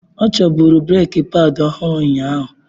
Ọ chọburu breeki padi ọhụrụ unyaahu.